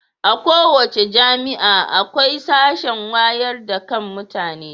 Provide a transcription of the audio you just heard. A kowace jami'a akwai sashen wayar da kan mutane.